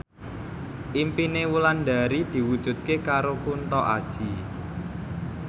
impine Wulandari diwujudke karo Kunto Aji